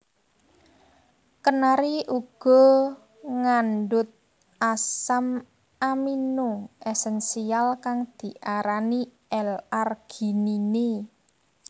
Kenari uga ngandhut asam amino esensial kang diarani L arginine